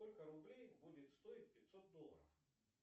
сколько рублей будет стоить пятьсот долларов